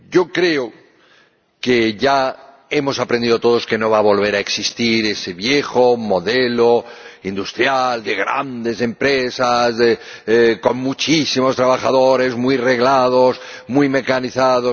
Creo que ya hemos aprendido todos que no va a volver a existir ese viejo modelo industrial de grandes empresas con muchísimos trabajadores, muy reglados, muy mecanizados.